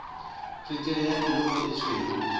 tswekere ya illovo e tshweu